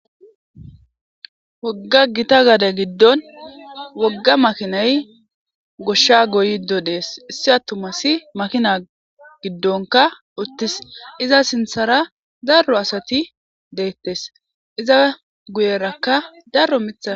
Wogga gita gade gidon wogga makinay goshsha goyido des issi atumass makina gidonkka utis iza sinththara daro asati dettes iza guyerakka daro miththat